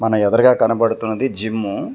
నా ఎదరగా కనబడుతున్నది జిమ్ము .